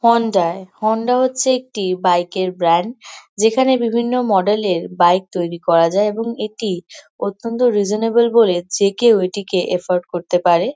Honda Honda হচ্ছে একটি bike এর ব্র্যান্ড যেখানে বিভিন্ন মডেল এর বাইক তৈরি করা যায়। এবং এটি অত্যন্ত রিজনাবল বলে যে কেউ এটি কে অ্যাফোড়ড করতে পারে।